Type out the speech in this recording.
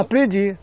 Aprendi.